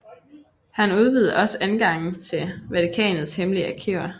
Han udvidede også adgangen til Vatikanets hemmelige arkiver